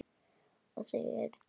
Og þau eru tvö.